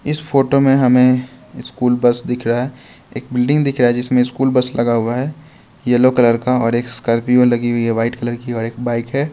इस फोटो में हमें स्कूल बस दिख रहा एक बिल्डिंग दिख रहा जिसमें स्कूल बस लगा हुआ है येलो कलर का और एक स्कॉर्पियो लगी हुई है व्हाइट कलर की और एक बाइक है।